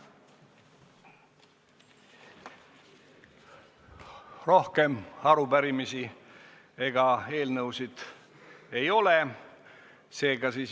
Rohkem arupärimisi ega eelnõusid ei ole.